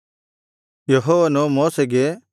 ಯೆಹೋವನು ಮೋಶೆಗೆ